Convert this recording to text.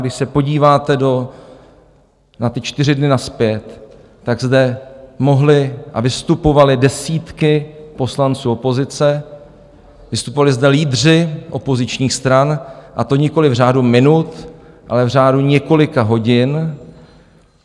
Když se podíváte na ty čtyři dny nazpět, tak zde mohly a vystupovaly desítky poslanců opozice, vystupovali zde lídři opozičních stran, a to nikoliv v řádu minut, ale v řádu několika hodin.